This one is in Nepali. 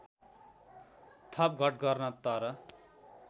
थपघट गर्न तर